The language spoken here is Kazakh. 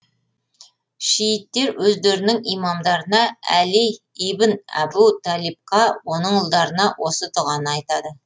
шииттер өздерінің имамдарына әли ибн әбу талибқа оның ұлдарына осы дұғаны айтады